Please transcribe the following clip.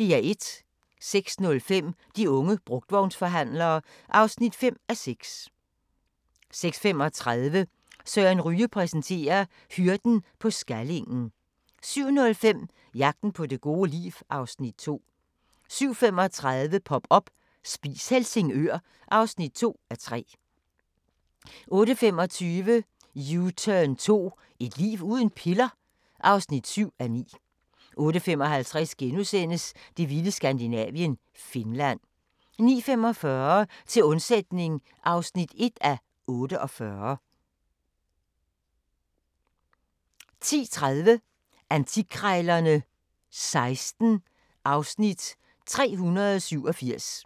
06:05: De unge brugtvognsforhandlere (5:6) 06:35: Søren Ryge præsenterer: Hyrden på Skallingen 07:05: Jagten på det gode liv (Afs. 2) 07:35: Pop up – Spis Helsingør (2:3) 08:25: U-turn 2 – Et liv uden piller? (7:9) 08:55: Det vilde Skandinavien – Finland * 09:45: Til undsætning (1:48) 10:30: Antikkrejlerne XVI (Afs. 387)